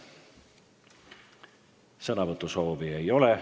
Sõnavõtusoovi ei ole.